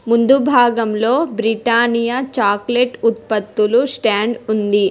ముందు భాగంలో Britannia chocolate ఉత్పత్తులు స్టాండ్ ఉంది.